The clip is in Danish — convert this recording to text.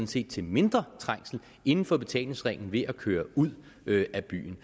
set til mindre trængsel inden for betalingsringen ved at køre ud af byen